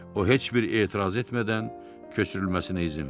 O heç bir etiraz etmədən köçürülməsinə izin verdi.